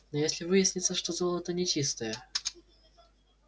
но если выяснится что золото нечистое